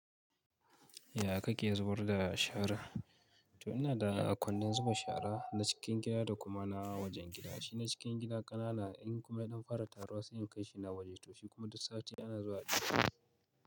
Ya kake zubar da shara? To ina da kwandon zuba shara na cikin gida da kuma na wajen gida. Shi na cikin gida ƙanana in kuma idan fara taruwa sai in kai shi na waje. To shi kuma duk sati ana zuwa a yi.